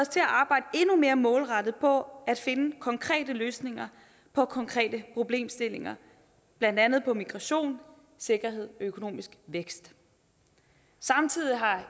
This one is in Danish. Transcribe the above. til at arbejde endnu mere målrettet på at finde konkrete løsninger på konkrete problemstillinger blandt andet migration sikkerhed og økonomisk vækst samtidig har